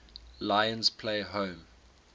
lions play home